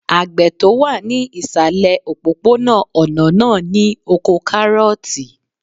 Àgbẹ̀ tó wà ní ìsàlẹ̀ òpópó-ònà náà ní oko kárọ̀ọ̀tì